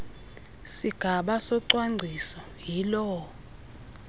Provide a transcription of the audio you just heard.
sigaba socwangciso yiloo